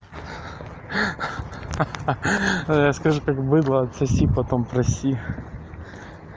ха-ха я скажу как быдло отсоси потом проси